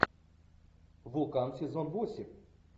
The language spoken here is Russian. вулкан сезон восемь